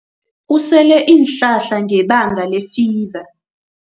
Usele iinhlahla ngebanga lefiva.